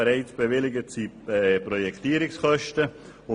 Bereits bewilligt sind die Projektierungskosten.